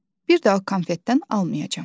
Bir daha konfetdən almayacam.